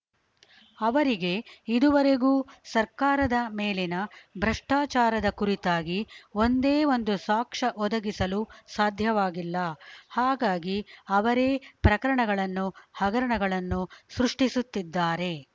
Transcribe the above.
ಅವರಿಗೆ ಇದುವರೆಗೂ ಸರ್ಕಾರದ ಮೇಲಿನ ಭ್ರಷ್ಟಾಚಾರದ ಕುರಿತಾಗಿ ಒಂದೇ ಒಂದು ಸಾಕ್ಷ್ಯ ಒದಗಿಸಲು ಸಾಧ್ಯವಾಗಿಲ್ಲ ಹಾಗಾಗಿ ಅವರೇ ಪ್ರಕರಣಗಳನ್ನು ಹಗರಣಗಳನ್ನು ಸೃಷ್ಟಿಸುತ್ತಿದ್ದಾರೆ